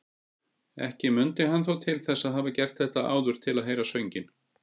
Ekki mundi hann þó til þess að hafa gert þetta áður til að heyra sönginn.